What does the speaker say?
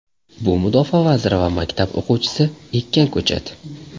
Bu Mudofaa vaziri va maktab o‘quvchisi ekkan ko‘chat!